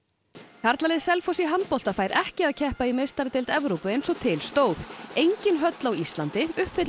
karlalið Selfoss fær ekki að keppa í meistaradeild Evrópu eins og til stóð engin höll á Íslandi uppfyllir